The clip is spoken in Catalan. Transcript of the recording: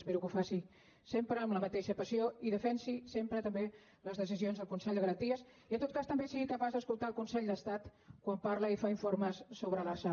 espero que ho faci sempre amb la mateixa passió i defensi sempre també les decisions del consell de garanties i en tot cas també sigui capaç d’escoltar el consell d’estat quan parla i fa informes sobre l’lrsal